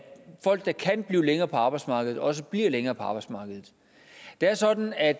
folk der kan blive længere på arbejdsmarkedet også bliver længere på arbejdsmarkedet det er sådan at